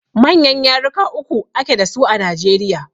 Manyan yaruka uku a ke dasu a Najeriya.